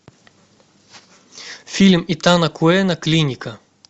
фильм итана куэна клиника